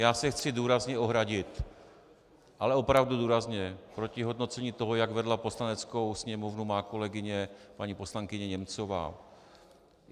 Já se chci zdůrazně ohradit, ale opravdu důrazně, proti hodnocení toho, jak vedla Poslaneckou sněmovnu má kolegyně paní poslankyně Němcová.